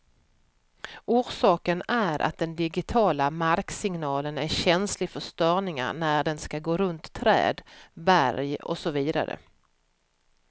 Orsaken är att den digitiala marksignalen är känslig för störningar när den skall gå runt träd, berg och så vidare.